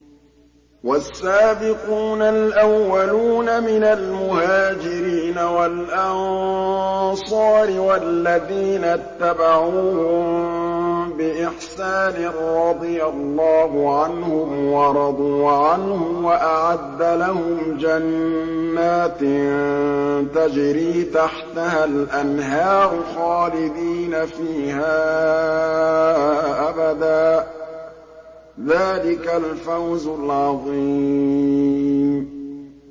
وَالسَّابِقُونَ الْأَوَّلُونَ مِنَ الْمُهَاجِرِينَ وَالْأَنصَارِ وَالَّذِينَ اتَّبَعُوهُم بِإِحْسَانٍ رَّضِيَ اللَّهُ عَنْهُمْ وَرَضُوا عَنْهُ وَأَعَدَّ لَهُمْ جَنَّاتٍ تَجْرِي تَحْتَهَا الْأَنْهَارُ خَالِدِينَ فِيهَا أَبَدًا ۚ ذَٰلِكَ الْفَوْزُ الْعَظِيمُ